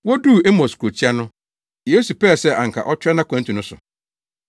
Woduu Emaus kurotia no, Yesu pɛɛ sɛ anka ɔtoa nʼakwantu no so.